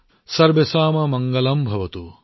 সৰ্বেশম মংগলমভৱতু